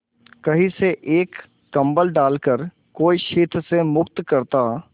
कहीं से एक कंबल डालकर कोई शीत से मुक्त करता